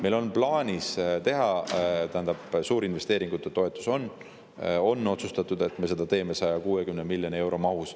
Meil on otsustatud suurinvesteeringute toetus, me teeme seda mahus 160 miljonit eurot.